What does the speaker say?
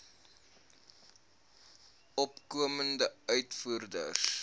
opkomende uitvoerders